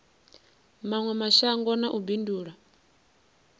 mawe mashango na u bindula